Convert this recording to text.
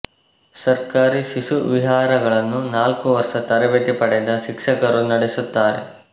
ಸರ್ಕಾರಿ ಶಿಶುವಿಹಾರಗಳನ್ನು ನಾಲ್ಕು ವರ್ಷ ತರಬೇತಿ ಪಡೆದ ಶಿಕ್ಷಕರು ನಡೆಸುತ್ತಾರೆ